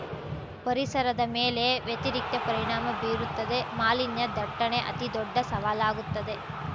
ಪರಿಸರದ ಮೇಲೆ ವ್ಯತಿರಿಕ್ತ ಪರಿಣಾಮ ಬೀರುತ್ತದೆ ಮಾಲಿನ್ಯ ದಟ್ಟಣೆ ಅತಿದೊಡ್ಡ ಸವಾಲಾಗುತ್ತದೆ